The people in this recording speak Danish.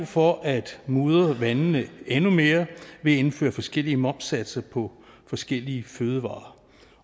for at mudre vandene endnu mere ved at indføre forskellige momssatser på forskellige fødevarer